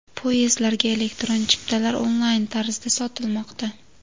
Poyezdlarga elektron chiptalar onlayn tarzda sotilmoqda.